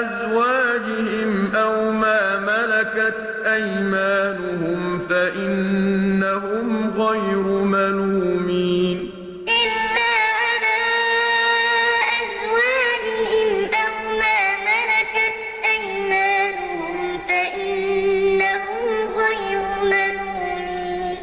أَزْوَاجِهِمْ أَوْ مَا مَلَكَتْ أَيْمَانُهُمْ فَإِنَّهُمْ غَيْرُ مَلُومِينَ إِلَّا عَلَىٰ أَزْوَاجِهِمْ أَوْ مَا مَلَكَتْ أَيْمَانُهُمْ فَإِنَّهُمْ غَيْرُ مَلُومِينَ